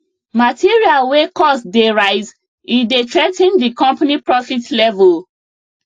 material wey cost dey rise e dey threa ten di company profit level